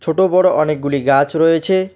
ছোট বড় অনেকগুলি গাছ রয়েছে।